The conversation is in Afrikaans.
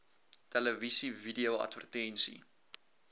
televisie video advertensie